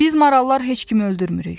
Biz marallar heç kimi öldürmürük.